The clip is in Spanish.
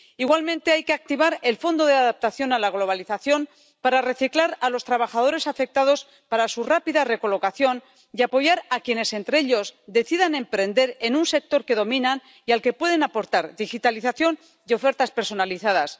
Igualmente, hay que activar el Fondo Europeo de Adaptación a la Globalización para reciclar a los trabajadores afectados para su rápida recolocación y apoyar a quienes, entre ellos, decidan emprender en un sector que dominan y al que pueden aportar digitalización y ofertas personalizadas.